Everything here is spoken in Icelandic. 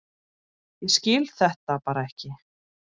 Ég skil þetta bara ekki.